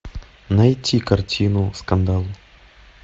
найти картину скандал